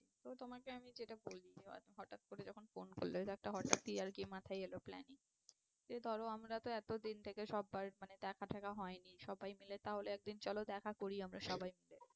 তো তোমাকে আমি যেটা বলছি হঠাৎ করে যখন phone করলে তো হঠাৎই একটা মাথায় এলো planning যে ধরো আমরা তো এতদিন থেকে সব্বার মানে দেখা টেকা হয়নি সবাই মিলে তাহলে চলো একদিন দেখা করি আমরা সবাই মিলে।